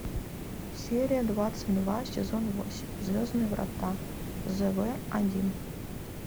серия двадцать два сезон восемь звездные врата зв один